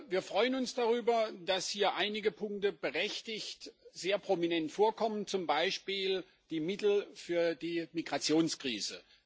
Wir freuen uns darüber, dass hier einige Punkte berechtigt sehr prominent vorkommen, zum Beispiel die Mittel für die Migrationskrise.